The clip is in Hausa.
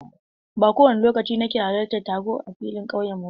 Ba kowane lokaci nake halartar taro a filin ƙauye ba.